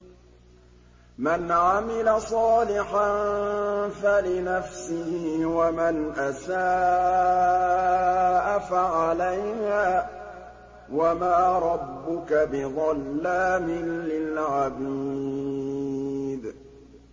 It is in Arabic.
مَّنْ عَمِلَ صَالِحًا فَلِنَفْسِهِ ۖ وَمَنْ أَسَاءَ فَعَلَيْهَا ۗ وَمَا رَبُّكَ بِظَلَّامٍ لِّلْعَبِيدِ